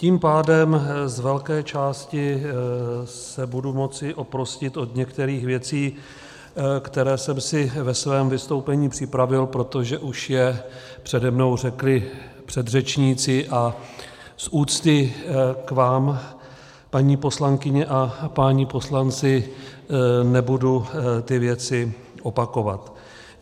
Tím pádem z velké části se budu moci oprostit od některých věcí, které jsem si ve svém vystoupení připravil, protože je už přede mnou řekli předřečníci, a z úcty k vám, paní poslankyně a páni poslanci, nebudu ty věci opakovat.